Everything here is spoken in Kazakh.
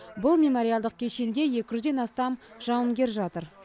бұл мемориалдық кешенде екі жүзден астам жауынгер жатыр